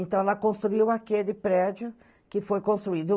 Então ela construiu aquele prédio que foi construído.